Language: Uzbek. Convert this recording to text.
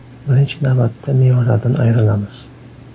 Birinchi navbatda mevalardan ayrilamiz.